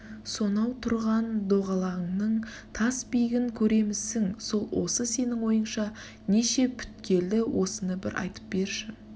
сонау тұрған доғалаңның тас биігін көремісің сол осы сенің ойыңша неше пүткеледі осыны бір айтып берші